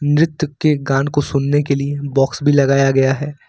नृत्य के गान को सुनने के लिए बॉक्स भी लगाया गया है।